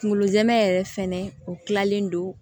Kunkolo jama yɛrɛ fɛnɛ u kilalen don